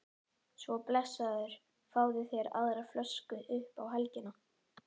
Svo blessaður fáðu þér aðra flösku upp á helgina